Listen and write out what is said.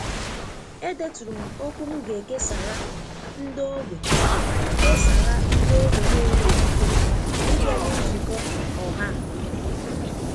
E deturu m okwu m ga e kesara nde ogbe kesara nde ogbe n'enweghị ike ị bịali nzukọ ọha a.